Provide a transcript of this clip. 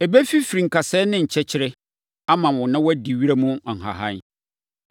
Ɛbɛfifiri nkasɛɛ ne nkyɛkyerɛ ama wo na woadi wiram nhahan.